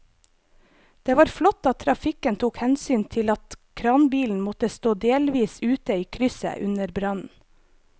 Det var flott at trafikken tok hensyn til at kranbilen måtte stå delvis ute i krysset under brannen.